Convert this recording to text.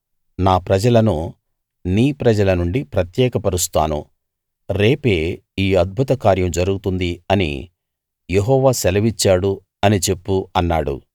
నా ప్రజలను నీ ప్రజల నుండి ప్రత్యేకపరుస్తాను రేపే ఈ అద్భుత కార్యం జరుగుతుంది అని యెహోవా సెలవిచ్చాడు అని చెప్పు అన్నాడు